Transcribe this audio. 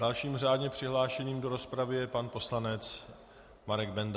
Dalším řádně přihlášeným do rozpravy je pan poslanec Marek Benda.